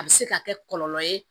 A bɛ se ka kɛ kɔlɔlɔ ye